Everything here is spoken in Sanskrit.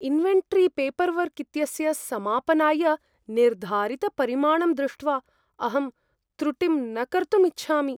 इन्वेन्टरीपेपर्वर्क् इत्यस्य समापनाय निर्धारितपरिमाणं दृष्ट्वा अहं त्रुटिं न कर्तुम् इच्छामि।